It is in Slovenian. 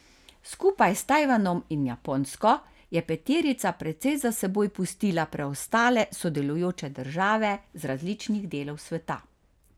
Skupaj s Tajvanom in Japonsko je peterica precej za seboj pustila preostale sodelujoče države z različnih delov sveta.